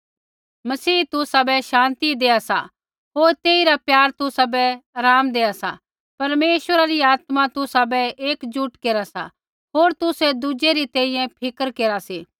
मसीह तुसाबै शान्ति दैआ सा होर तेइरा प्यार तुसाबै आराम दैआ सा परमेश्वरा री आत्मा तुसाबै एकजुट केरा सा होर तुसै दुज़ै री तैंईंयैं फ़िक्र केरा सी